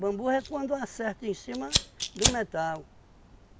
Bamburra é quando acerta em cima do metal.